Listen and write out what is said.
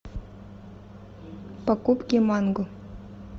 покупки манго